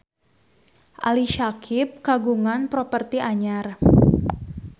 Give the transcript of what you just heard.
Ali Syakieb kagungan properti anyar